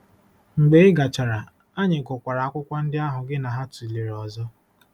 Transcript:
Mgbe ị gachara, anyị gụkwara akwụkwọ ndị ahụ gị na ha tụlere ọzọ.